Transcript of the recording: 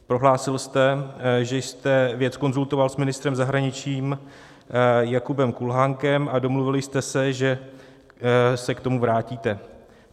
Prohlásil jste, že jste věc konzultoval s ministrem zahraničí Jakubem Kulhánkem a domluvili jste se, že se k tomu vrátíte.